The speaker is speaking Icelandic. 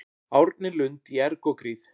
Árni Lund í erg og gríð